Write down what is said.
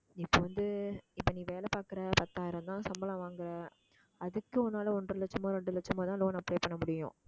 இப்ப வந்து இப்ப நீ வேலை பாக்குற பத்தாயிரம்தான் சம்பளம் வாங்குற அதுக்கு உன்னால ஒன்றரை லட்சமோ ரெண்டு லட்சமோ தான் loan apply பண்ண முடியும்